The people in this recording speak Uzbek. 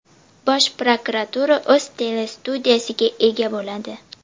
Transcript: Bosh prokuratura o‘z telestudiyasiga ega bo‘ladi.